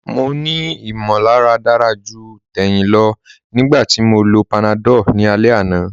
Mọ̀ ní ìmọ̀làrà dára julọ̀ lẹ́ẹ̀hin lìlọ́ panadol ni alẹ̀ àná.